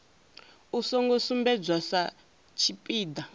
u songo sumbedzwa sa tshipiḓa